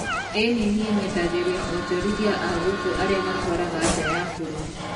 ĩĩni niĩ nyendagiria onjorithia a gũkũ arĩa matwaraga nja ya bũrũri